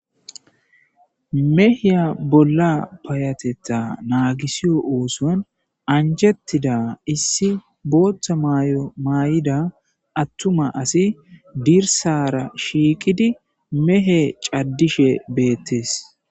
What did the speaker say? meheya bolla payateta naagisiyo ooson anjettida issi booththa mayo maayida attuma asi dirsara shiiqidi mehe caddishe beettes